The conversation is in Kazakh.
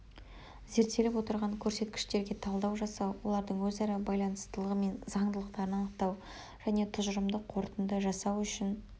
зерттеліп отырған көрсеткіштерге талдау жасау олардың өзара байланыстылығы мен заңдылықтарын анықтау және тұжырымды қорытынды жасау үшін